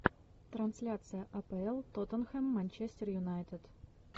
трансляция апл тоттенхэм манчестер юнайтед